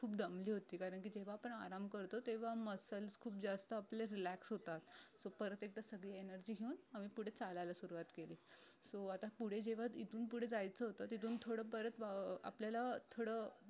खूप दम्बली होती कारण की जेव्हा आपण आराम करतो तेव्हा muscles खूप जास्त आपले relax होतात so परत एकदा सगळी energy घेऊन आम्ही पुढे चालायला सुरवात केली so आता पुढे जेव्हा इथून पुढे जायचं होत तिथून थोडं परत अं आपल्याला थोडं